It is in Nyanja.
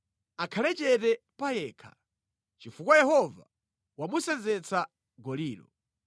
Akhale chete pa yekha, chifukwa Yehova wamusenzetsa golilo.